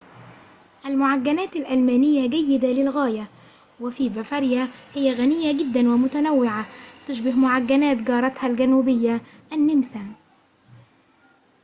المعجنات الألمانية جيدة للغاية وفي بافاريا هي غنية جداً ومتنوعة تشبه معجنات جارتها الجنوبية النمسا